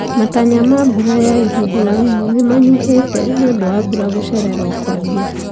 Matanya ma mbura ya ihinda inini nĩmanyihĩte nĩũndũ wa mbura gũcererwo kwambia